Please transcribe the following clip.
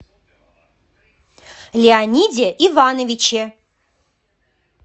леониде ивановиче